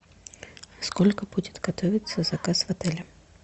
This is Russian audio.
сколько будет готовиться заказ в отеле